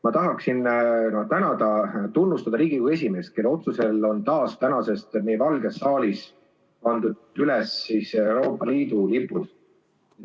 Ma tahan tänada-tunnustada Riigikogu esimeest, kelle otsusel on tänasest taas meie Valges saalis üleval Euroopa Liidu lipud.